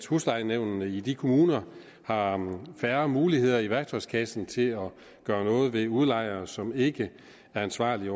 huslejenævnene i de kommuner har færre muligheder i værktøjskassen til at gøre noget ved udlejere som ikke er ansvarlige